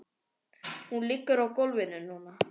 Hún liggur á gólfinu núna.